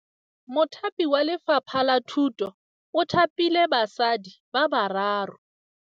Mothapi wa Lefapha la Thutô o thapile basadi ba ba raro.